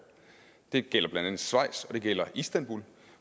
det gælder blandt andet schweiz og det gælder istanbul